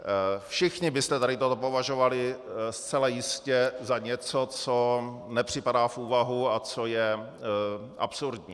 Všichni byste tady toto považovali zcela jistě za něco, co nepřipadá v úvahu a co je absurdní.